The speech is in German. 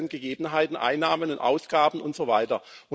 Gegebenheiten, die Einnahmen und Ausgaben und so weiter.